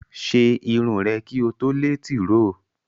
Ṣe irun rè kí o tó lé tìróò!